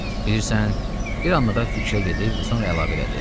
Bilirsən, bir anlığa fikrə gedib sonra əlavə elədi.